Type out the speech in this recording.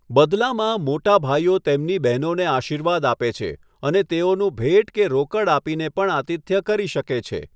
બદલામાં, મોટા ભાઈઓ તેમની બહેનોને આશીર્વાદ આપે છે અને તેઓનું ભેટ કે રોકડ આપીને પણ આતિથ્ય કરી શકે છે.